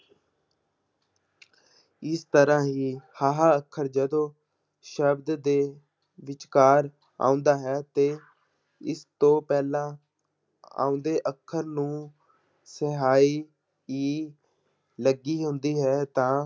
ਇਸ ਤਰ੍ਹਾਂ ਹੀ ਹਾਹਾ ਅੱਖਰ ਜਦੋਂ ਸ਼ਬਦ ਦੇ ਵਿਚਕਾਰ ਆਉਂਦਾ ਹੈ ਤੇ ਇਸ ਤੋਂ ਪਹਿਲਾਂ ਆਉਂਦੇ ਅੱਖਰ ਨੂੰ ਲੱਗੀ ਹੁੰਦੀ ਹੈ ਤਾਂ